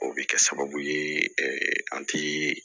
O bɛ kɛ sababu ye an ti